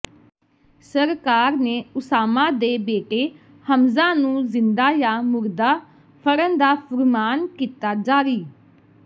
ਸਰਕਾਰ ਨੇ ਓਸਾਮਾ ਦੇ ਬੇਟੇ ਹਮਜ਼ਾ ਨੂੰ ਜ਼ਿੰਦਾ ਜਾਂ ਮੁਰਦਾ ਫੜਨ ਦਾ ਫੁਰਮਾਨ ਕੀਤਾ ਜਾਰੀ